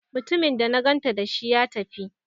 Mutumin da na ganta dashi, ya tafi?